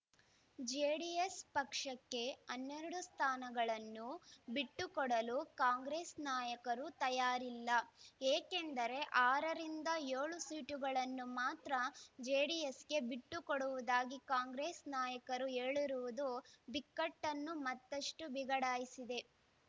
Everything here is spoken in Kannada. ಜೆಡಿಎಸ್ ಪಕ್ಷಕ್ಕೆ ಹನ್ನೆರಡು ಸ್ಥಾನಗಳನ್ನು ಬಿಟ್ಟು ಕೊಡಲು ಕಾಂಗ್ರೆಸ್ ನಾಯಕರು ತಯಾರಿಲ್ಲ ಏಕೆಂದರೆ ಆರ ರಿಂದ ಏಳು ಸೀಟುಗಳನ್ನು ಮಾತ್ರ ಜೆಡಿಎಸ್‌ಗೆ ಬಿಟ್ಟು ಕೊಡುವುದಾಗಿ ಕಾಂಗ್ರೆಸ್ ನಾಯಕರು ಹೇಳಿರುವುದು ಬಿಕ್ಕಟ್ಟನ್ನು ಮತ್ತಷ್ಟು ಬಿಗಡಾಯಿಸಿದೆ